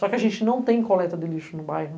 Só que a gente não tem coleta de lixo no bairro.